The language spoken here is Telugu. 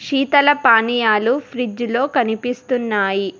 సీతల పనియాలు ఫ్రిడ్జ్ లో కమిపిస్తున్నాయి.